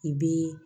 I b'i